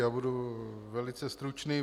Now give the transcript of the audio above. Já budu velice stručný.